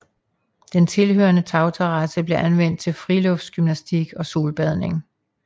Den tilhørende tagterrasse blev anvendt til friluftsgymnastik og solbadning